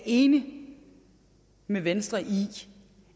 enig med venstre i